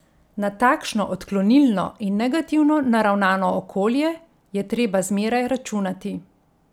Na takšno odklonilno in negativno naravnano okolje je treba zmeraj računati.